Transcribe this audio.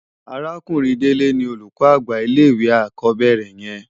Àrákúnrin Dele ni ólúkò ágbà llé iwé ákòbèrè yèn